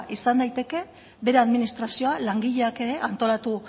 izan daiteke bere administrazioa langileak ere antolatu